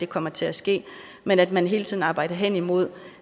kommer til at ske men at man hele tiden arbejder hen imod